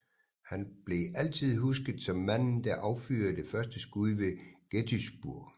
Han blev altid husket som manden der affyrede det første skud ved Gettysburg